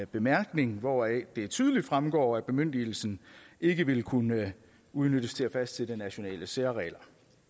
bemærkning hvoraf det tydeligt fremgår at bemyndigelsen ikke vil kunne udnyttes til at fastsætte nationale særregler